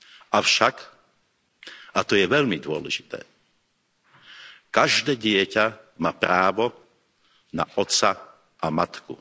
Avšak, a to je veľmi dôležité, každé dieťa má právo na otca a matku.